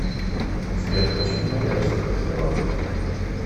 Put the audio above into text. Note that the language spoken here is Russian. сбер хочу много разных мармеладок